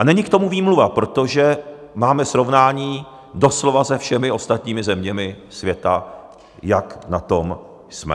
A není k tomu výmluva, protože máme srovnání doslova se všemi ostatními zeměmi světa, jak na tom jsme.